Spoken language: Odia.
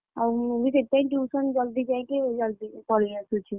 ଆଉ ମୁଁ ବି ସେଇଥିପାଇଁ tuition ଜଲ୍‌ଦି ଯାଇକି ଜଲ୍‌ଦି ପଳେଇ ଆସୁଛି।